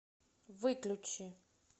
выключи